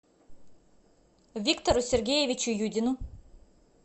виктору сергеевичу юдину